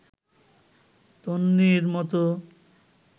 তন্বীর মতো